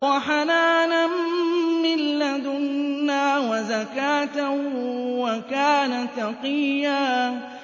وَحَنَانًا مِّن لَّدُنَّا وَزَكَاةً ۖ وَكَانَ تَقِيًّا